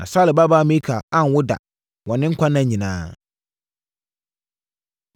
Na Saulo babaa Mikal anwo ba da wɔ ne nkwa nna nyinaa.